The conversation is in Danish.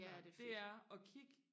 ja det fedt